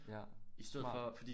Ja smart